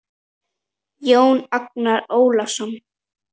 Jón Agnar Ólason